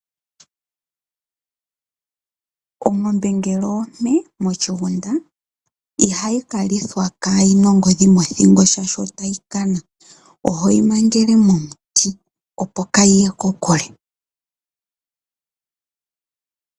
Ongombe ngele ompe moshigunda ihayi kalithwa kayi na ongodhi mothingo shaashi otayi kana ohoyi mangele momuti opo ka yiye kokule.